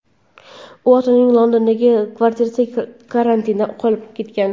U ota-onasining Londondagi kvartirasida karantinda qolib ketgan.